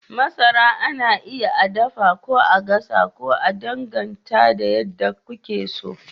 Masara ana iya a dafa ko a gasa, ya danganta da yadda kuke so.